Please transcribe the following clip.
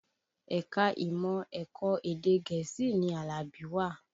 Ẹ̀ka ìmọ̀ ẹ̀kọ́ èdè Gẹ̀ẹ́sì ni Alabi wà